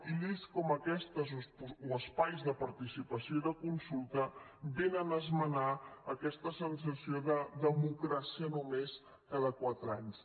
i lleis com aquestes o espais de participació i de consulta vénen a esmenar aquesta sensació de democràcia només cada quatre anys